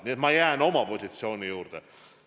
Nii et ma jään oma positsioonile.